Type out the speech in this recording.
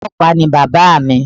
Ọlọ́pàá ni bàbáa mi